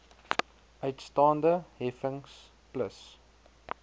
uitstaande heffings plus